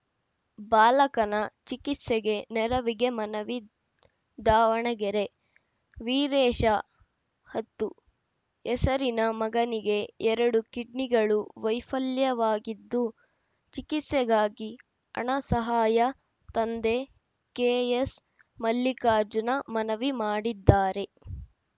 ಬಾಲಕನ ಚಿಕಿತ್ಸೆಗೆ ನೆರವಿಗೆ ಮನವಿ ದಾವಣಗೆರೆ ವೀರೇಶ ಹತ್ತು ಹೆಸರಿನ ಮಗನಿಗೆ ಎರಡು ಕಿಡ್ನಿಗಳು ವೈಫಲ್ಯವಾಗಿದ್ದು ಚಿಕಿತ್ಸೆಗಾಗಿ ಹಣ ಸಹಾಯ ತಂದೆ ಕೆಎಸ್‌ ಮಲ್ಲಿಕಾರ್ಜುನ ಮನವಿ ಮಾಡಿದ್ದಾರೆ